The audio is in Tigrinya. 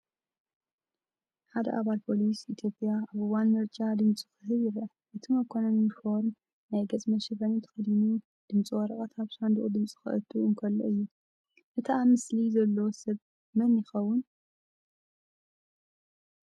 ሓደ ኣባል ፖሊስ ኢትዮጵያ ኣብ እዋን ምርጫ ድምጹ ክህብ ይርአ። እቲ መኮነን ዩኒፎርምን ናይ ገጽ መሸፈኒን ተኸዲኑ፡ ድምጺ ወረቐት ኣብ ሳንዱቕ ድምጺ ከእቱ እንከሎ እዩ። እቲ ኣብ ስእሊ ዘሎ ሰብ መን የኸውን?